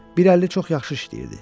Biri əli çox yaxşı işləyirdi.